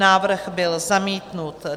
Návrh byl zamítnut.